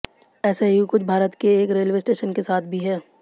ऐसा ही कुछ भारत के एक रेलवे स्टेशन के साथ भी है